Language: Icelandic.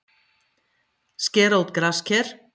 Skera út grasker